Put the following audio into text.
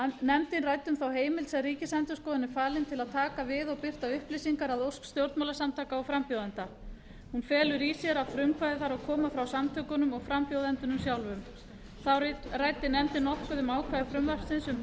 nefndin ræddi um þá heimild sem ríkisendurskoðun er falin til að taka við og birta upplýsingar að ósk stjórnmálasamtaka og frambjóðenda hún felur í sér að frumkvæði þarf að koma frá stjórnmálasamtökunum og frambjóðendunum sjálfum þá ræddi nefndin nokkuð um ákvæði frumvarpsins um